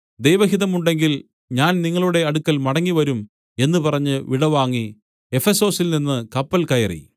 ദൈവഹിതമുണ്ടെങ്കിൽ ഞാൻ നിങ്ങളുടെ അടുക്കൽ മടങ്ങിവരും എന്നു പറഞ്ഞു വിടവാങ്ങി എഫെസൊസിൽനിന്ന് കപ്പൽ കയറി